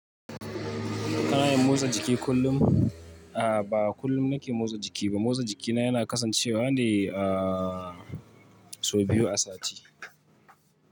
Ana motsa jiki kullum. A ba kullum na ke motsa jiki ba. Motsa jiki na yana kasancewa a so biyu a sati.